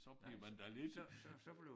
Så bliver man da lidt